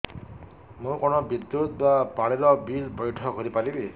ମୁ କଣ ବିଦ୍ୟୁତ ବା ପାଣି ର ବିଲ ପଇଠ କରି ପାରିବି